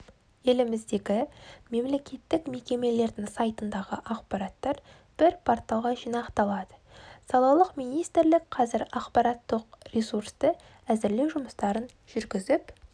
еліміздегі мемлекеттік мекемелердің сайтындағы ақпараттар бір порталға жинақталады салалық министрлік қазір ақпараттық ресурсты әзірлеу жұмыстарын жүргізіп